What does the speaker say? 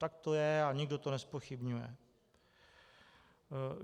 Tak to je a nikdo to nezpochybňuje.